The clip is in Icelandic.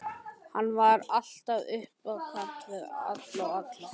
Hann var alltaf upp á kant við allt og alla.